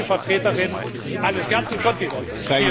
diplomatische Vertreterin eines ganzen Kontinents!